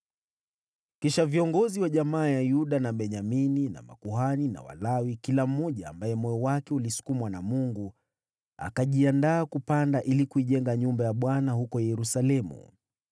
Kisha viongozi wa jamaa ya Yuda na Benyamini na makuhani na Walawi kila mmoja ambaye moyo wake ulisukumwa na Mungu, akajiandaa kupanda ili kuijenga nyumba ya Bwana huko Yerusalemu.